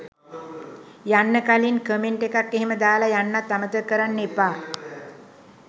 යන්න කලින් කමෙන්ට් එකක් එහෙම දාලා යන්නත් අමතක කරන්න එපා.